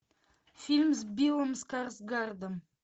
фильм с биллом скарсгардом